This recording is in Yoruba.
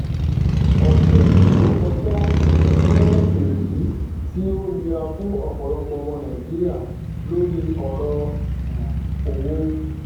ọsẹ tó kọjá jẹ èyí tí ó nira fún ọpọlọpọ ọmọ nàìjíríà lórí ọrọ um owó